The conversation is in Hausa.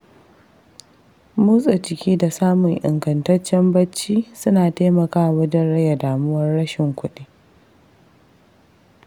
Motsa jiki da samun ingantaccen bacci suna taimakawa wajen rage damuwar rashin kuɗi.